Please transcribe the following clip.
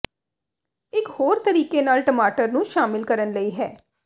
ਇਕ ਹੋਰ ਤਰੀਕੇ ਨਾਲ ਟਮਾਟਰ ਨੂੰ ਸ਼ਾਮਿਲ ਕਰਨ ਲਈ ਹੈ